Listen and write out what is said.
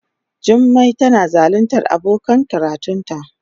Jummai tana zaluntar abokan karatunta.